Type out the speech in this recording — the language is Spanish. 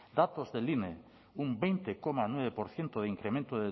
datos del ine un veinte coma nueve por ciento de incremento